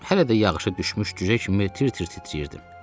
Hələ də yağışı düşmüş cücə kimi tir-tir titrirdim.